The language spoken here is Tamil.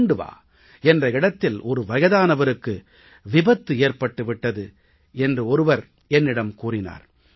கண்டவா என்ற இடத்தில் ஒரு வயதானவருக்கு விபத்து ஏற்பட்டு விட்டது என்று ஒருவர் என்னிடம் கூறினார்